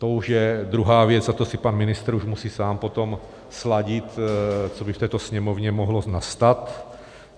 To už je druhá věc a to si pan ministr už musí sám potom sladit, co by v této Sněmovně mohlo nastat.